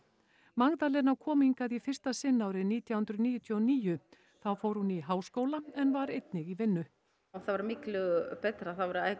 Magdalena kom hingað í fyrsta sinn árið nítján hundruð níutíu og níu þá fór hún í háskóla en var einnig í vinnu það var miklu betra það var